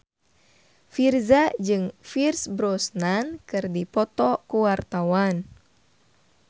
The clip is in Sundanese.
Virzha jeung Pierce Brosnan keur dipoto ku wartawan